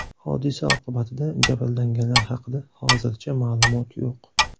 Hodisa oqibatida jabrlanganlar haqida hozircha ma’lumot yo‘q.